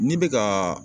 N'i bɛ ka